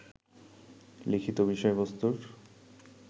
লিখিত বিষয়বস্তুর